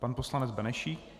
Pan poslanec Benešík.